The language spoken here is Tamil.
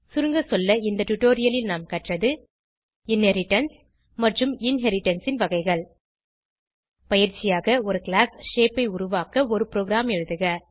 சுருங்கசொல்ல இந்த டுடோரியலில் நாம் கற்றது இன்ஹெரிடன்ஸ் மற்றும் இன்ஹெரிடன்ஸ் ன் வகைகள் பயிற்சியாக ஒரு கிளாஸ் ஷேப் ஐ உருவாக்க ஒரு ப்ரோகிராம் எழுதுக